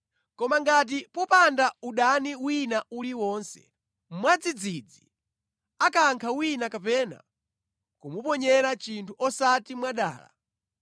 “ ‘Koma ngati popanda udani wina uliwonse, mwadzidzidzi akankha wina kapena kumuponyera chinthu osati mwadala,